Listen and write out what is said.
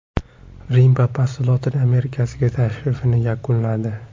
Rim papasi Lotin Amerikasiga tashrifini yakunladi.